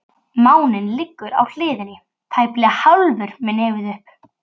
Máninn liggur á hliðinni, tæplega hálfur með nefið upp.